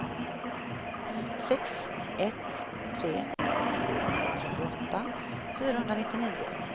sex ett tre två trettioåtta fyrahundranittionio